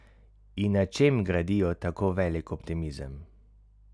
In na čem gradijo tako velik optimizem?